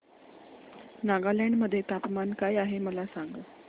नागालँड मध्ये तापमान काय आहे मला सांगा